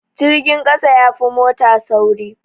Jirgin ƙasa yafi mota sauri